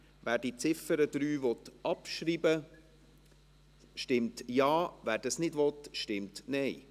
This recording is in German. Wer die Ziffer 3 abschreiben will, stimmt Ja, wer dies nicht will, stimmt Nein.